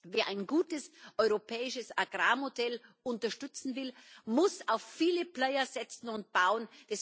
Wer ein gutes europäisches Agrarmodell unterstützen will, muss auf viele Player setzen und bauen.